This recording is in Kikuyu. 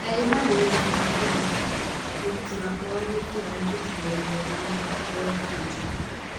"Ndarĩ haroinĩ yaku ngĩ gutara, mũruti wakwa wa wĩ ra" nĩ arandĩ kire rũrendainĩ rwake rwa twita.